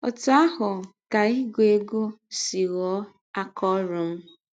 Ọtụ ahụ ka ịgụ egwụ si ghọọ aka ọrụ m.